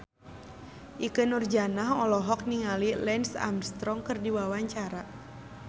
Ikke Nurjanah olohok ningali Lance Armstrong keur diwawancara